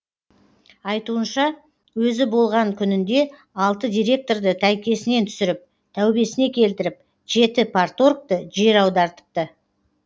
айтуынша өзі болған күнінде алты директорды тәйкесінен түсіріп тәубесіне келтіріп жеті парторгты жер аудартыпты